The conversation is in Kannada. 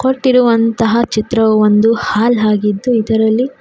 ನೋಡುತ್ತಿರುವಂತಹ ಒಂದು ಚಿತ್ರವು ಹಾಲ್ ಆಗಿದ್ದು ಇದರಲ್ಲಿ--